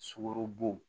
Sukarobo